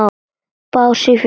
Bás í fjósi?